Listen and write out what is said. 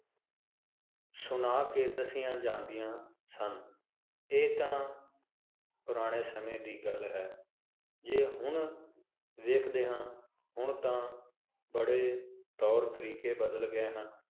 ਸੁਣਾ ਕੇ ਦੱਸੀਆਂ ਜਾਂਦੀਆਂ ਸਨ ਇਹ ਤਾਂ ਪੁਰਾਣੇ ਸਮੇ ਦੀ ਗੱਲ ਹੈ ਜੇ ਹੁਣ ਵੇਖਦੇ ਹਾਂ ਹੁਣ ਤਾਂ ਬੜੇ ਤੌਰ-ਤਰੀਕੇ ਬਦਲ ਗਏ ਹਨ